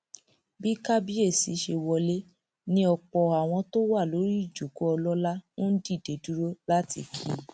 bí kábíyèsí ṣe wọlé ni ọpọ àwọn tó wà lórí ìjókòó ọlọlá ń dìde dúró láti kí i